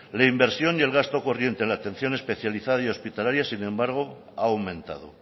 la inversión y el gasto corriente en la atención especializada hospitalaria sin embargo ha aumentado